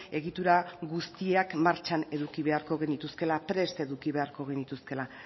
egitura guztiak martxan eduki beharko genituzkeela prest eduki beharko genituzkeela